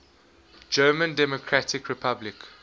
german democratic republic